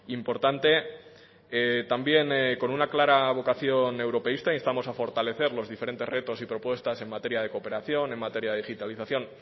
importante también con una clara vocación europeísta instamos a fortalecer los diferentes retos y propuestas en materia de cooperación en materia de digitalización